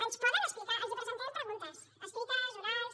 ens poden explicar els presentarem preguntes escrites orals